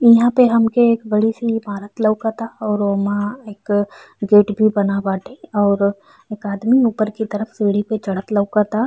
इहाँ पे हमके बड़ी सी ईमारत लउकता और ओमा एक गेट भी बना बाटे और एक आदमी ऊपर की तरफ सीढ़ी पे चढ़त लउकता।